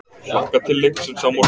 Hlakka til leiksins á morgun.